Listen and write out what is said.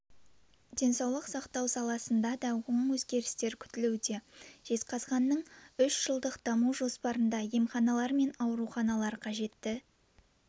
денсаулық сақтау саласында да оң өзгерістер күтілуде жезқазғанның үш жылдық даму жоспарында емханалар мен ауруханалар қажетті